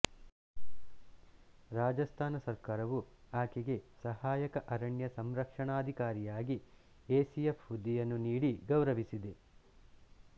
ರಾಜಸ್ಥಾನ ಸರ್ಕಾರವು ಆಕೆಗೆ ಸಹಾಯಕ ಅರಣ್ಯ ಸಂರಕ್ಷಣಾಧಿಕಾರಿಯಾಗಿ ಎಸಿಎಫ್ ಹುದ್ದೆಯನ್ನು ನೀಡಿ ಗೌರವಿಸಿದೆ